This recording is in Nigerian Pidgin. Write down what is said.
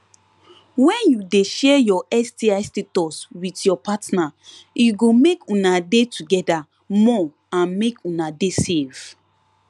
when you de share your sti status with ur partner e go make una de together more and make una de safe